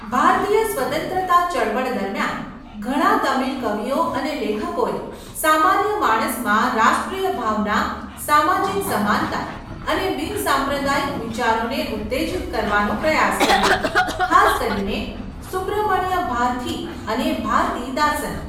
ભારતીય સ્વતંત્રતા ચળવળ દરમિયાન, ઘણા તમિલ કવિઓ અને લેખકોએ સામાન્ય માણસમાં રાષ્ટ્રીય ભાવના, સામાજિક સમાનતા અને બિનસાંપ્રદાયિક વિચારોને ઉત્તેજિત કરવાનો પ્રયાસ કર્યો, ખાસ કરીને સુબ્રમણ્ય ભારથી અને ભારતીદાસન.